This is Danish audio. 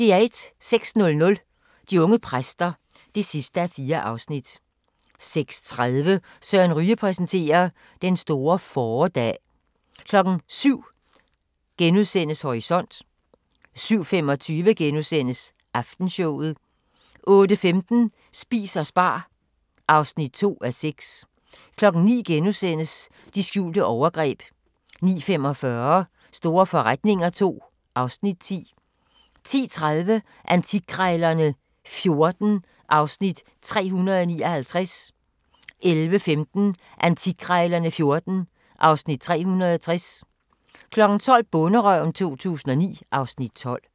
06:00: De unge præster (4:4) 06:30: Søren Ryge præsenterer: Den store fåredag 07:00: Horisont * 07:25: Aftenshowet * 08:15: Spis og spar (2:6) 09:00: De skjulte overgreb * 09:45: Store forretninger II (Afs. 10) 10:30: Antikkrejlerne XIV (Afs. 359) 11:15: Antikkrejlerne XIV (Afs. 360) 12:00: Bonderøven 2009 (Afs. 12)